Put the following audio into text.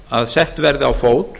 að sett verði á fót